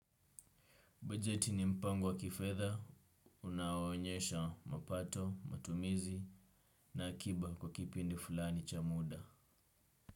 Bajeti ni mpango wa kifedha, unaoonyesha mapato, matumizi na akiba kwa kipindi fulani cha muda.